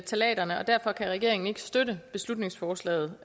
ftalaterne og derfor kan regeringen ikke støtte beslutningsforslaget